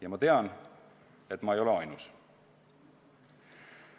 Ja ma tean, et ma ei ole ainus.